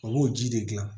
A b'o ji de dilan